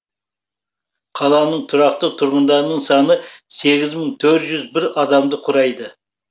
қаланың тұрақты тұрғындарының саны сегіз мың төрт жүз бір адамды құрайды